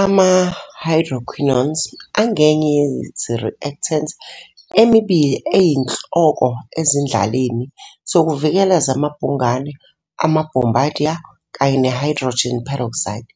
Ama-hydroquinones angenye ye-reactants emibili eyinhloko ezindlaleni zokuzivikela zamabhungane ama-bombardier, kanye ne-hydrogen peroxide,